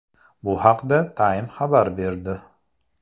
Bu haqda Time xabar berdi .